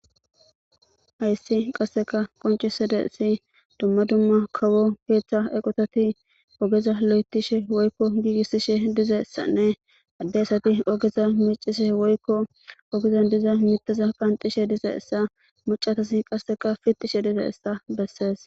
Hayssi qasseka qonccisidaysi dumma dumma kawo keeththa eqotati ogeza lo'etishe woykko giigissishe dizayssanne adde asati ogeza meecishe woykko ogezan diza mittaza qanxishe dizayssa macca asati qasseka fittishe dizayssa bessees.